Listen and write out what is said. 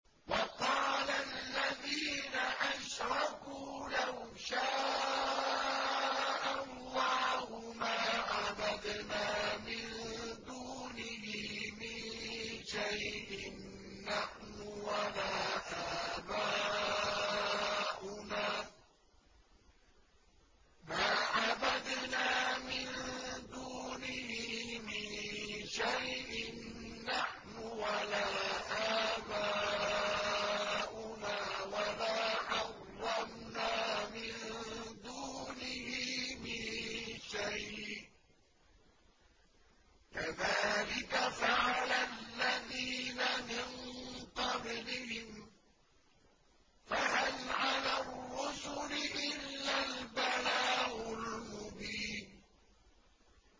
وَقَالَ الَّذِينَ أَشْرَكُوا لَوْ شَاءَ اللَّهُ مَا عَبَدْنَا مِن دُونِهِ مِن شَيْءٍ نَّحْنُ وَلَا آبَاؤُنَا وَلَا حَرَّمْنَا مِن دُونِهِ مِن شَيْءٍ ۚ كَذَٰلِكَ فَعَلَ الَّذِينَ مِن قَبْلِهِمْ ۚ فَهَلْ عَلَى الرُّسُلِ إِلَّا الْبَلَاغُ الْمُبِينُ